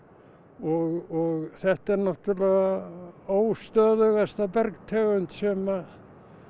og þetta er náttúrlega bergtegund sem